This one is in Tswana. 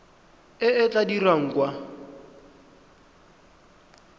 e e tla dirwang kwa